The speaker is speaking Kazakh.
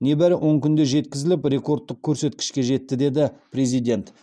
небәрі он күнде жеткізіліп ректордтық көрсеткішке жетті деді президент